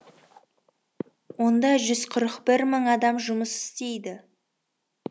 онда жүз ырық бір мың адам жұмыс істейді